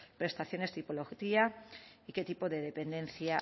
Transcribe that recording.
prestaciones tipología y qué tipo de dependencia